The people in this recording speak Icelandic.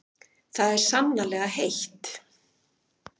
En það er sannarlega heitt.